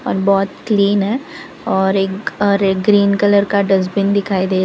बहुत क्लीन है और एक और एक ग्रीन कलर डस्टबिन दिखाई दे रहा है।